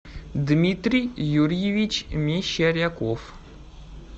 дмитрий юрьевич мещеряков